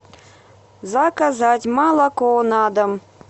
заказать молоко на дом